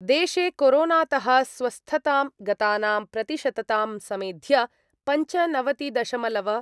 देशे कोरोनातः स्वस्थतां गतानां प्रतिशततां समेध्य पञ्चनवतिदशमलव